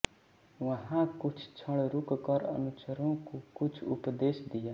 वहाँ कुछ क्षण रुक कर अनुचरों को कुछ उपदेश दिया